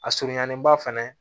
A surunyanenba fɛnɛ